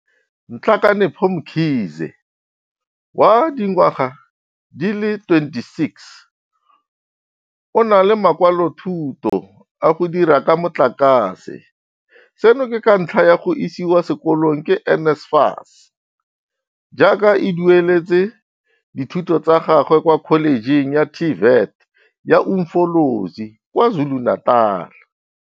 Nhlakanipho Mkhize, wa dingwaga di le 26, o na le makwalothuto a go dira ka motlakase, seno ke ka ntlha ya go isiwa sekolong ke NSFAS, jaaka e dueletse dithuto tsa gagwe kwa Kholejeng ya TVET ya Umfolozi kwa KwaZulu-Natal.